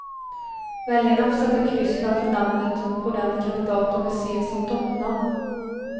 Väljarna får sätta kryss framför namnet på den kandidat de vill se som toppnamn.